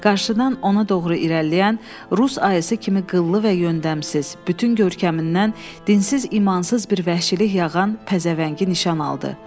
Qarşıdan ona doğru irəliləyən, rus ayısı kimi qıllı və yöndəmsiz, bütün görkəmindən dinsiz, imansız bir vəhşilik yağan pəzəvəngi nişan aldı.